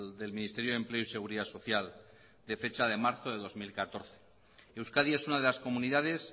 del ministerio de empleo y seguridad social de fecha de marzo de dos mil catorce euskadi es una de las comunidades